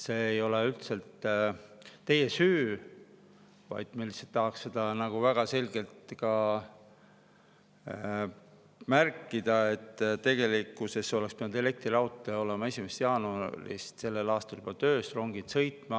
See ei ole üldse teie süü, vaid me lihtsalt tahaks seda väga selgelt märkida, et tegelikkuses oleks pidanud elektriraudtee olema 1. jaanuarist sel aastal juba töös ja rongid sõitma.